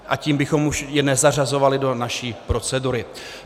A tím bychom už je nezařazovali do naší procedury.